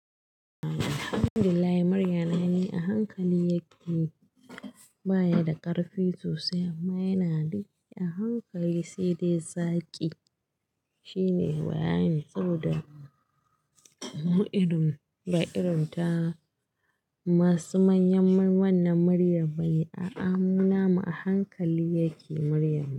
Alhamdulillahi murya na ni a hankali yake, baya da ƙarfi sosai amma yana da a hankali sai dai zaki shine bayanin saboda mu irin ba irin ta masu manyan wannan maryam bane. A'a mu namu a hankali yake muryanmu.